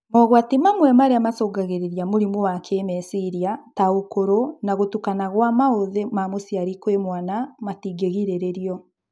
Mogwati mamwe marĩa macũngagĩrĩria mũrimũ wa kĩmeciria ta ũkũrũ na gũtukana gwa maũthĩ ma mũciari kwĩ mwana matingirĩrĩrio